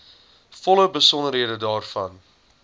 volle besonderhede daarvan